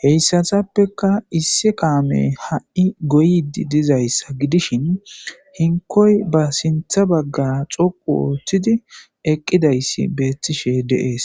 heyssatappeka issi kaame ha7i goyidi dizayssa gidishin hinkoy ba sintha bagga coqu ooththidi eqqidayssi beettishe deees